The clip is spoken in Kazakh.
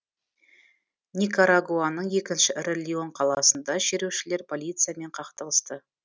никарагуаның екінші ірі леон қаласында шерушілер полициямен қақтығысты